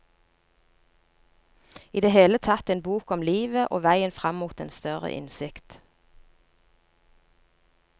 I det hele tatt en bok om livet og veien fram mot en større innsikt.